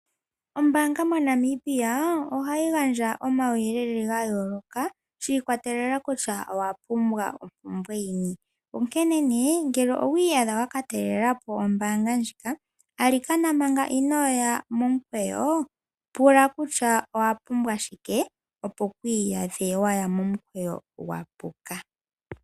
Ombaanga moNamibia ohayi gandja omauyelele ga yooloka shi ikwatelela kutya owa pumbwa ompumbwe yini. Onkene nee ngele owa iyadha wa ka talelepo ombaanga ndjika, alikana manga inoya momukweyo pula kutya owa pumbwa shike, opo ku iyadhe waya momukweyo gwa puka.